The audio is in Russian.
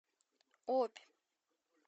обь